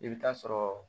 I bɛ taa sɔrɔ